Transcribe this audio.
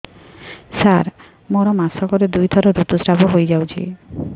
ସାର ମୋର ମାସକରେ ଦୁଇଥର ଋତୁସ୍ରାବ ହୋଇଯାଉଛି